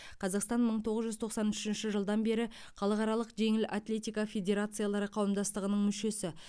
қазақстан мың тоғыз жүз тоқсан үшінші жылдан бері халықаралық жеңіл атлетика федерациялары қауымдастығының мүшесі